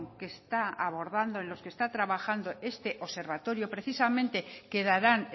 que está abordando en los que está trabajando este observatorio precisamente que darán